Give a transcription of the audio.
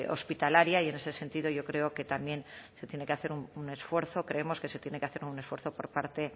hospitalaria y en ese sentido yo creo que también se tiene que hacer un esfuerzo creemos que se tiene que hacer un esfuerzo por parte